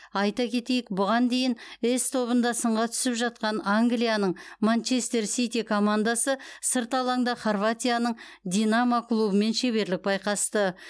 айта кетейік бұған дейін с тобында сынға түсіп жатқан англияның манчестер сити командасы сырт алаңда хорватияның динамо клубымен шеберлік байқасты